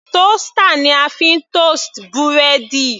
Toaster ni a fi ń toast búrẹ́dì.